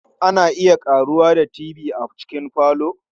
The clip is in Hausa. Ana iya ƙaruwa da Tv a cikin falo.